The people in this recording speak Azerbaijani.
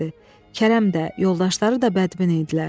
Kərəm də, yoldaşları da bədbin idilər.